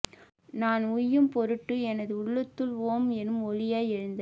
நான் உய்யும் பொருட்டு எனது உள்ளத்துள் ஓம் எனும் ஒலியாய் எழுந்த